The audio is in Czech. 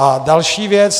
A další věc.